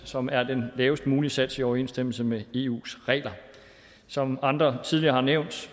som er den lavest mulige sats i overensstemmelse med eus regler som andre tidligere har nævnt